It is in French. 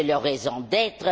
C'est leur raison d'être.